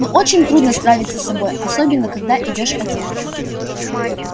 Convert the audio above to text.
но очень трудно справиться с собой особенно когда идёшь один